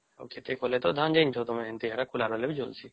ଆଉ ଖେତେ କଲେ ତା ଧାନ ଯାଇନଥିବା ତମେ ସେଟା ଖୋଲା ରହିବେ ବି ଚାଲସେ